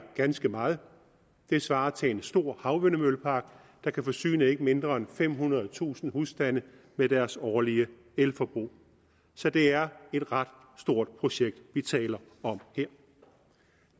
ganske meget det svarer til en stor havvindmøllepark der kan forsyne ikke mindre end femhundredetusind husstande med deres årlige elforbrug så det er et ret stort projekt vi taler om her